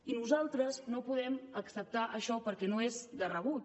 i nosaltres no podem acceptar això perquè no és de rebut